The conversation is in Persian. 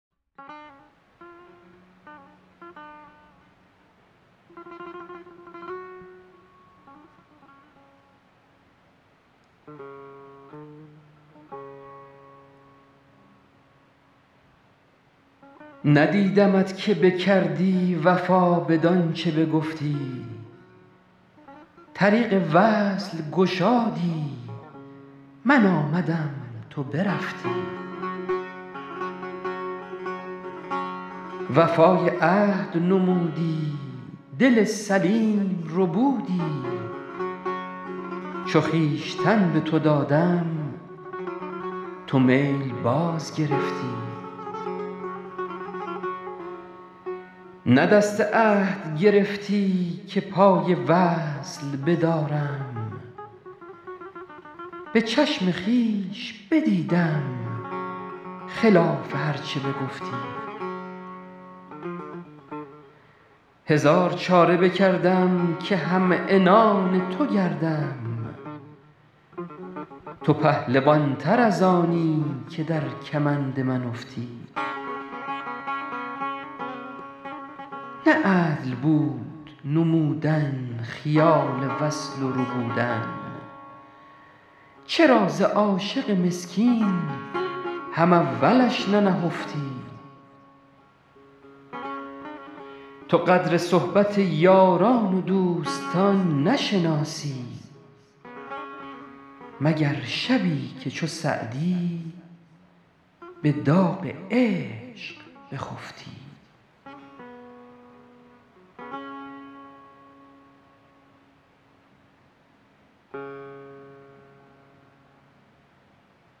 ندیدمت که بکردی وفا بدان چه بگفتی طریق وصل گشادی من آمدم تو برفتی وفای عهد نمودی دل سلیم ربودی چو خویشتن به تو دادم تو میل باز گرفتی نه دست عهد گرفتی که پای وصل بدارم به چشم خویش بدیدم خلاف هر چه بگفتی هزار چاره بکردم که هم عنان تو گردم تو پهلوان تر از آنی که در کمند من افتی نه عدل بود نمودن خیال وصل و ربودن چرا ز عاشق مسکین هم اولش ننهفتی تو قدر صحبت یاران و دوستان نشناسی مگر شبی که چو سعدی به داغ عشق بخفتی